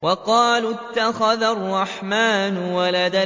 وَقَالُوا اتَّخَذَ الرَّحْمَٰنُ وَلَدًا